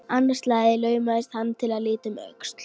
Annað slagið laumaðist hann til að líta um öxl.